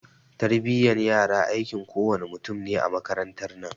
Tarbiyan yara aikin kowa ne mutum ne a makarantan nan